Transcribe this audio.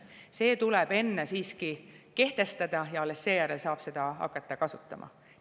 Aga see tuleb enne siiski kehtestada ja alles seejärel saab hakata seda kasutama.